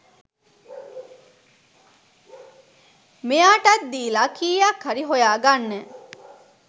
මෙයාටත්දීල කීයක් හරි හොයා ගන්න